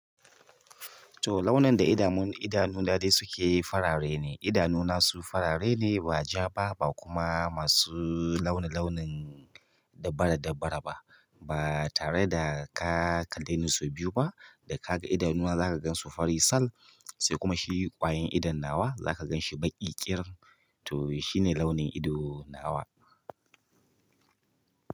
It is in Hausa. To launin da idanun daɗe suke farare ne, idanuna su farare ne ba ja ba, ba kuma masu launin launin dabbara dabbara ba. Ba tare da ka kalleni sau biyu ba, da kaga idona zaka gansu fari sal, sai kuma shi ƙwayan idon nawa zaka ganshi baƙi ƙirin to shi ne launin ido nawa.